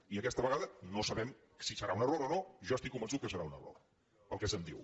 i aquesta vegada no sabem si serà un error o no jo estic convençut que serà un error pel que se’m diu